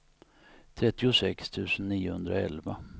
trettiosex tusen niohundraelva